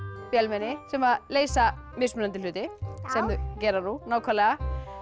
vélmenni sem leysa mismunandi hluti sem þau gera nú nákvæmlega